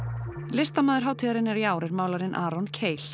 listamaður hátíðarinnar í ár er málarinn Aron